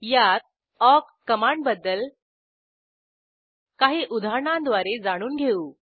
यात ऑक कमांडबद्दल काही उदाहरणांद्वारे जाणून घेऊ